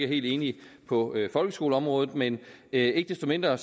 helt enige på folkeskoleområdet men ikke desto mindre